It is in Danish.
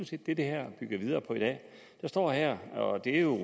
set det det her bygger videre på i dag der står her og det er jo